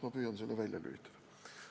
Ma püüan selle välja lülitada.